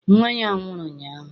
Nnwa ya nwụrụ ụnyaahụ.